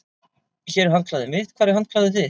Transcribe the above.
Hér er handklæðið mitt. Hvar er handklæðið þitt?